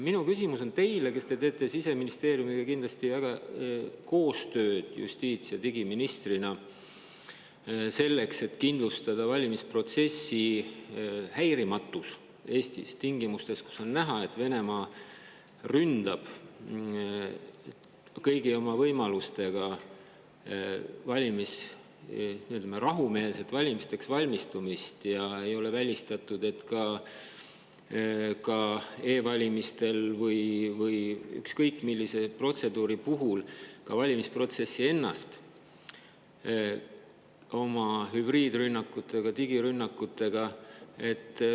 Minu küsimus on teile, kes te justiits‑ ja digiministrina teete Siseministeeriumiga kindlasti koostööd, selle kohta, kuidas kindlustada valimisprotsessi häirimatus Eestis tingimustes, kus on näha, et Venemaa ründab kõigi oma võimalustega rahumeelset valimisteks valmistumist, ja ei ole välistatud, et ka e‑valimistel või ükskõik millise protseduuri puhul ka valimisprotsessi ennast oma hübriidrünnakutega, digirünnakutega.